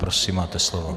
Prosím, máte slovo.